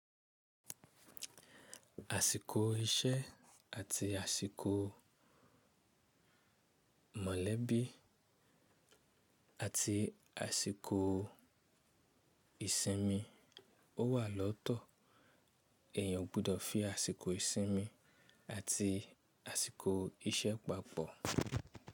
Àsìkò iṣẹ́ àti àsìkò mọ̀lẹ́bí àti àsìkò ìsinmi ó wà lọ́tọ̀, èèyàn gbudọ̀ fí àsìkò ìsinmi àti àsìkò iṣẹ́ papọ̀.